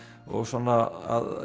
og svona að